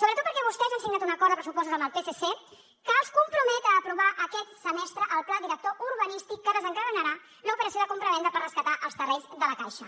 sobretot perquè vostès han signat un acord de pressupostos amb el psc que els compromet a aprovar aquest semestre el pla director urbanístic que desencadenarà l’operació de compravenda per rescatar els terrenys de la caixa